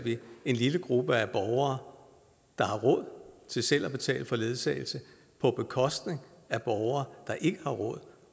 en lille gruppe af borgere der har råd til selv at betale for ledsagelse på bekostning af borgere der ikke har råd